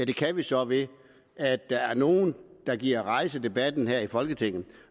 kan vi så ved at der er nogle der gider at rejse debatten her i folketinget